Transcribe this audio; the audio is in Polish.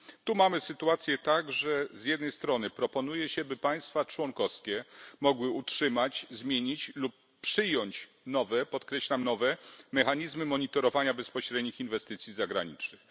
Tu mamy sytuację taką, że z jednej strony proponuje się, by państwa członkowskie mogły utrzymać, zmienić lub przyjąć nowe podkreślam nowe mechanizmy monitorowania bezpośrednich inwestycji zagranicznych.